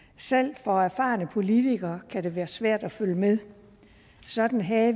selv for erfarne politikere kan det være svært at følge med sådan havde